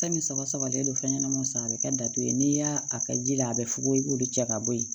Fɛn min saba sabalen don fɛn ɲɛnama san a bɛ kɛ datugu ye n'i y'a a kɛ ji la a bɛ fugofoyi o de cɛ ka bɔ yen